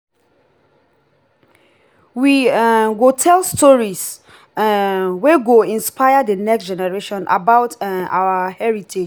we um go tell stories um wey go inspire the next generation about um our heritage.